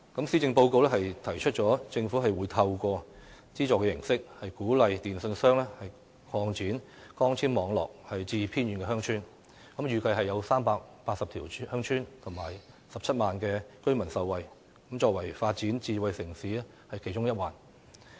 施政報告提出政府會透過資助形式，鼓勵電訊商擴展光纖網絡至偏遠鄉村，預計380條鄉村、近17萬名居民將會受惠，作為發展智慧城市的其中一環。